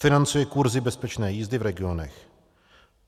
Financuje kurzy bezpečné jízdy v regionech.